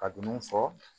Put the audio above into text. Ka dumuni fɔ